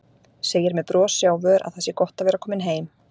Segir með brosi á vör að það sé gott að vera komin heim.